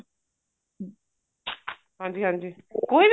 ਹਾਂਜੀ ਹਾਂਜੀ ਕੋਈ ਵੀ